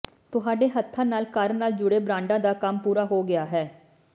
ਤੁਹਾਡੇ ਹੱਥਾਂ ਨਾਲ ਘਰ ਨਾਲ ਜੁੜੇ ਬਰਾਂਡਾ ਦਾ ਕੰਮ ਪੂਰਾ ਹੋ ਗਿਆ ਹੈ